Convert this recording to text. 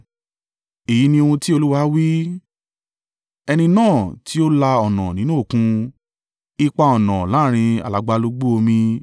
Èyí ni ohun tí Olúwa wí, Ẹni náà tí ó la ọ̀nà nínú Òkun, ipa ọ̀nà láàrín alagbalúgbú omi,